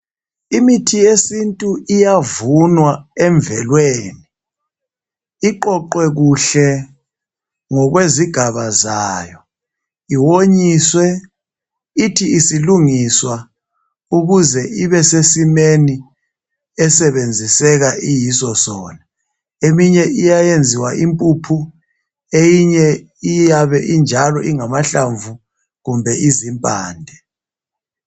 Imithi yesintu iyavunwa emvelweni iqoqwe kuhle ngokwezigaba zayo, iwonyiswe ithi isilungiswa ukuze ibe sesimeni esebenziseka iyiso sona Eminye Iyayenziwa impuphu eyinye iyabe injalo ingamahlamvu kumbe izimpande